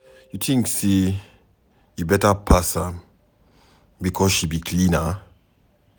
You tink sey you beta pass am because she be cleaner?